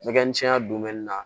Nɛgɛ misɛnya na